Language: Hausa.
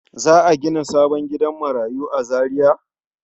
Za a gina sabon gidan marayu a Zariya?